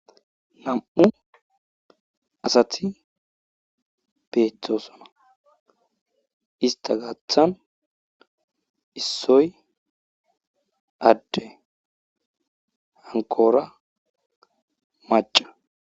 Nam'u asati betosona ista gatha issoy ade hankora maca